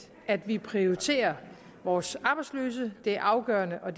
at vi prioriterer vores arbejdsløse det er afgørende og